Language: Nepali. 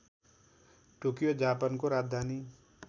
टोकियो जापानको राजधानी